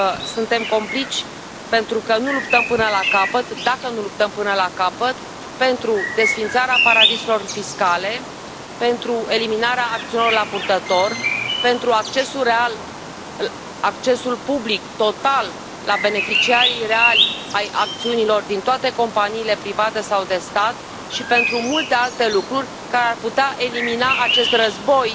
Suntem complici pentru că nu luptăm până la capăt, dacă nu luptăm până la capăt, pentru desființarea paradisurilor fiscale, pentru eliminarea acțiunilor la purtător, pentru accesul public, total, la beneficiarii reali ai acțiunilor din toate companiile private sau de stat și pentru multe alte lucruri care ar putea elimina acest război